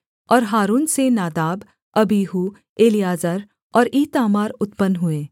और हारून से नादाब अबीहू एलीआजर और ईतामार उत्पन्न हुए